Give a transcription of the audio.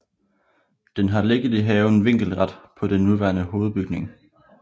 Den har ligget i haven vinkelret på den nuværende hovedbygning